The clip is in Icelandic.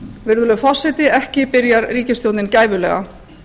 virðulegur forseti ekki byrjar ríkisstjórnin gæfulega